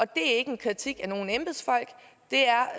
det er ikke en kritik af nogen embedsfolk det er